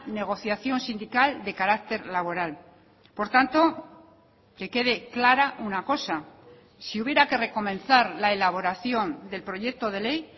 negociación sindical de carácter laboral por tanto que quede clara una cosa si hubiera que recomenzar la elaboración del proyecto de ley